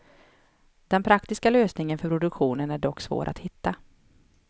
Den praktiska lösningen för produktionen är dock svår att hitta.